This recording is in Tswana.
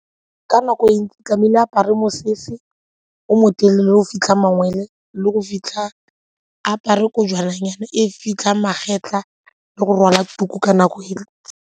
Ka nako e ntsi tlamehile a apare mosese o motelele le go fitlha mangwele le go fitlha, a apare kojwana nyana e fitlha magetla le go rwala tuku ka nako eo.